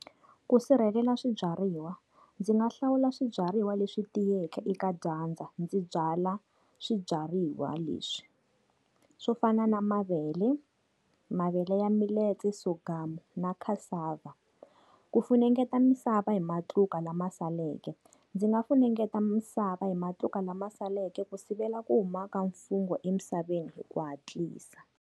Ku sirhelela swibyariwa. Ndzi nga hlawula swibyariwa leswi tiyeke eka dyandza, ndzi byala swibyariwa leswi. Swo fana na mavele, mavele ya millet, sorghum na cassava. Ku funengeta misava hi matluka lama saleke. Ndzi nga funengeta misava hi matluka lama saleke ku sivela ku humaka mfungho emisaveni hi ku hatlisa.